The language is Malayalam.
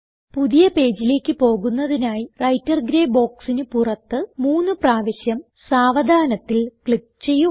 പുതിയ പേജിലേക്ക് പോകുന്നതിനായി വ്രൈട്ടർ ഗ്രേ ബോക്സിന് പുറത്ത് മൂന്ന് പ്രാവശ്യം സാവധാനത്തിൽ ക്ലിക്ക് ചെയ്യുക